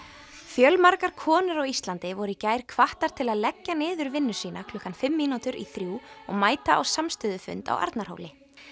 fjölmargar konur á Íslandi voru í gær hvattar til að leggja niður vinnu sína klukkan fimm mínútur í þrjú og mæta á samstöðufund á Arnarhóli